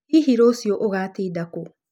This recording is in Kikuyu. Hihi rũciũ ũgatinda kũũ?